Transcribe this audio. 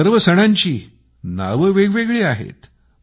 या सर्व सणांची नावे वेगवेगळी आहेत